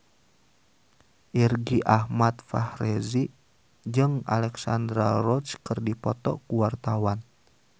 Irgi Ahmad Fahrezi jeung Alexandra Roach keur dipoto ku wartawan